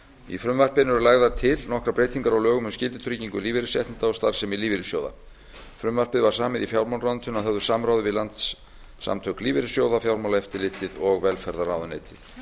í frumvarpinu eru lagðar til nokkrar breytingar á lögum um skyldutryggingu lífeyrisréttinda og starfsemi lífeyrissjóða frumvarpið var samið í fjármálaráðuneytinu að höfðu samráði við landssamtök lífeyrissjóða fjármálaeftirlitið og velferðarráðuneytið